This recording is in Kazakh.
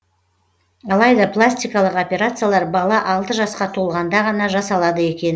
алайда пластикалық операциялар бала алты жасқа толғанда ғана жасалады екен